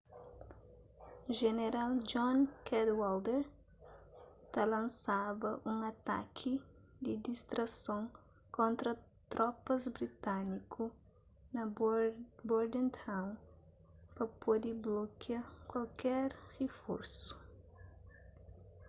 jeneral john cadwalder ta lansaba un ataki di distrason kontra tropas britániku na bordentown pa pode blokia kuaker riforsu